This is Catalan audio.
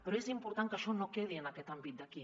però és important que això no quedi en aquest àmbit d’aquí